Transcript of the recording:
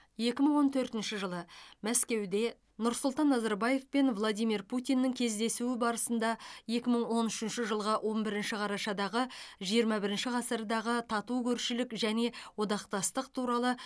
екі мың он төртінші жылы мәскеуде нұрсұлтан назарбаев пен владимир путиннің кездесуі барысында екі мың он үшінші жылғы он бірінші қарашадағы жиырма бірінші ғасырдағы тату көршілік және одақтастық туралы